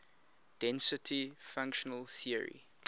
density functional theory